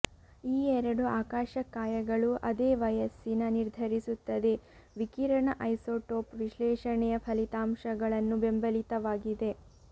ಈ ಎರಡು ಆಕಾಶಕಾಯಗಳು ಅದೇ ವಯಸ್ಸಿನ ನಿರ್ಧರಿಸುತ್ತದೆ ವಿಕಿರಣ ಐಸೋಟೋಪ್ ವಿಶ್ಲೇಷಣೆಯ ಫಲಿತಾಂಶಗಳನ್ನು ಬೆಂಬಲಿತವಾಗಿದೆ